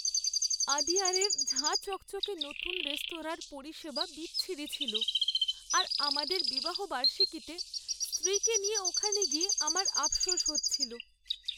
আদিয়ারের ঝাঁ চকচকে নতুন রেস্তোরাঁর পরিষেবা বিচ্ছিরি ছিল, আর আমাদের বিবাহবার্ষীকিতে স্ত্রীকে নিয়ে ওখানে গিয়ে আমার আফশোস হচ্ছিল।